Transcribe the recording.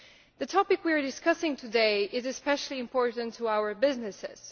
The topic we are discussing today is especially important to our businesses.